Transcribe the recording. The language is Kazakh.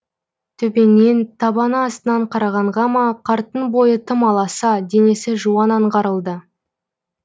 төменнен табаны астынан қарағанға ма қарттың бойы тым аласа денесі жуан аңғарылды